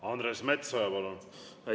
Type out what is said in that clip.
Andres Metsoja, palun!